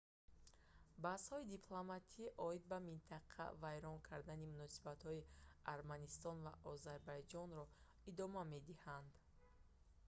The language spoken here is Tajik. баҳсҳои дипломатӣ оид ба минтақа вайрон кардани муносибатҳои арманистон ва озарбойҷонро идома медиҳанд